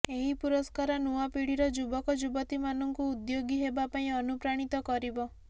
ଏହି ପୁରସ୍କାର ନୂଆ ପିଢ଼ିର ଯୁବକଯୁବତୀମାନଙ୍କୁ ଉଦ୍ୟୋଗୀ ହେବା ପାଇଁ ଅନୁପ୍ରାଣିତ କରିବ